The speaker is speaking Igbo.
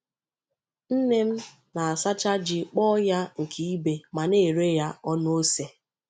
Nne m na-asacha ji kpọọ ya nke ibe ma na-ere ya ọnụ ose.